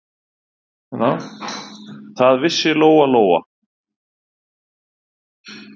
Það vissi Lóa-Lóa.